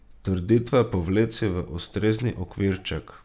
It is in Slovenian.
Trditve povleci v ustrezni okvirček.